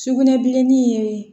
Sugunɛbilenni ye